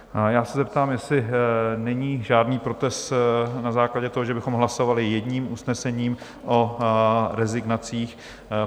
Já se zeptám, jestli není žádný protest na základě toho, že bychom hlasovali jedním usnesením o rezignacích?